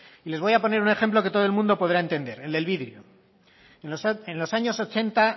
y les voy a poner un ejemplo que todo el mundo podrá entender el del vidrio en los años ochenta